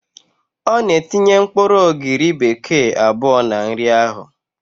Ọ na-etinye mkpụrụ ogiri bekee abụọ na nri ahụ